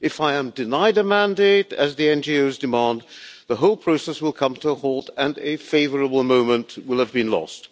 If I am denied a mandate, as the NGOs are demanding, the whole process will come to a halt and a favourable moment will have been lost.